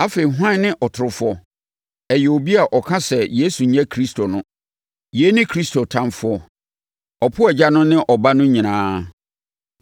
Afei, hwan ne ɔtorofoɔ? Ɛyɛ obi a ɔka sɛ Yesu nyɛ Kristo no. Yei ne Kristo ɔtamfoɔ. Ɔpo Agya no ne Ɔba no nyinaa.